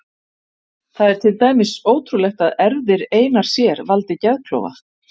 Það er til dæmis ótrúlegt að erfðir einar sér valdi geðklofa.